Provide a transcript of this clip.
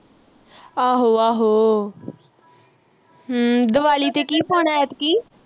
ਆਹੋ ਆਹੋ ਹਮ ਦਵਾਲੀ ਤੇ ਕੀ ਪਾਉਣਾ ਐਤਕੀ